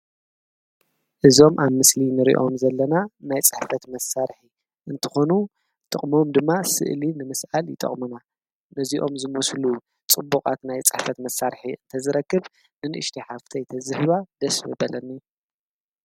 እዞም ኣብ ምስሊ ንርእዮም ዘለና ናይ ጸሕፈት መሣርኂ እንተኾኑ ጥቕምም ድማ ሥእሊ ንምስኣል ይጠቕምና ነዚኦም ዝሙስሉ ጽቡቓት ናይ ጻሕፈት መሣርኂ እንተ ዝረክብ ንንእሽቲ ሓፍተይተዘህዋ ደስቢ በለኒ